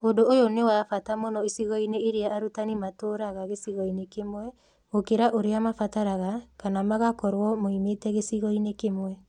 Ũndũ ũyũ nĩ wa bata mũno icigo-inĩ iria arutani matũũraga gĩcigo-inĩ kĩmwe gũkĩra ũrĩa maabataraga kana makgakorwo moimĩte gĩcigo-inĩ kĩmwe.